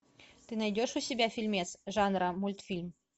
ты найдешь у себя фильмец жанра мультфильм